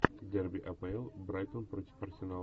дерби апл брайтон против арсенала